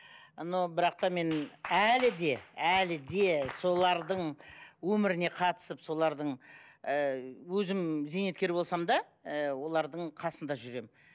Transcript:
но бірақ та мен әлі де әлі де солардың өміріне қатысып солардың ы өзім зейнеткер болсам да ы олардың қасында жүремін